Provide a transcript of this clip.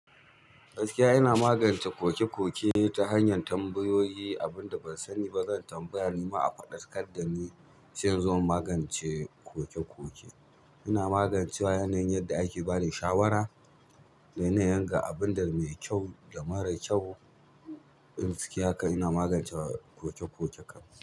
Gaskiya ina magance koke koke ta hanyar tambayoyi, abin da ban sani ba zan tambaya nima a faɗa. Kadda ni. Sai in zo in magance koke-koke. Ina magancewa ta yana yin yadda ake bani shawara da yana yin ga abin da mai kyau da mara kyau. Gaskiya kam ina magancewa koke-koke kam.